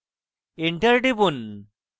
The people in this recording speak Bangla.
enter টিপুন